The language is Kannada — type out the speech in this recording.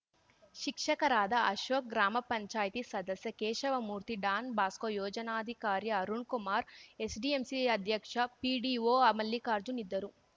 ಶಿಕ್ಷಕರಾದ ಅಶೋಕ್ ಗ್ರಾಮ ಪಂಚಾಯತಿ ಸದಸ್ಯ ಕೇಶವಮೂರ್ತಿ ಡಾನ್‌ ಬಾಸ್ಕೋ ಯೋಜನಾಧಿಕಾರಿ ಅರುಣ್‌ಕುಮಾರ್‌ ಎಸ್‌ಡಿಎಂಸಿ ಅಧ್ಯಕ್ಷ ಪಿಡಿಒ ಮಲ್ಲಿಕಾರ್ಜುನ್ ಇದ್ದರು